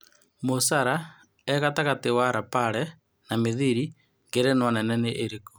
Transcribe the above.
Moha Salei e gatagatĩ wa Lapare na Mithiri, Ngerenwa nene nĩ ĩrĩkũ